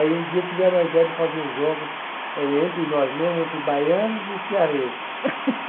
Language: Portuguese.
Aí um dia tiveram a ideia de fazer os jogos eh entre nós mesmos, entre baianos e cearenses